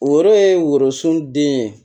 Woro ye worosun den ye